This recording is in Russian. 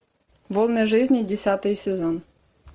волны жизни десятый сезон